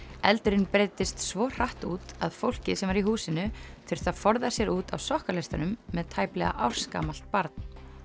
eldurinn breiddist svo hratt út að fólkið sem var í húsinu þurfti að forða sér út á sokkaleistunum með tæplega ársgamalt barn